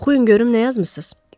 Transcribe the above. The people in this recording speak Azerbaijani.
Oxuyun görüm nə yazmısınız?